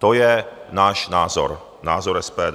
To je náš názor, názor SPD.